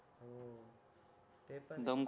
हो ते पण आहे